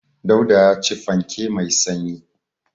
Dauda ya ci fanke mai sanyi.